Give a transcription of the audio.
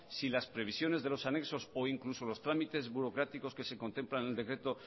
si las previsiones de los anexos o incluso los trámites burocráticos que se contemplan en el decreto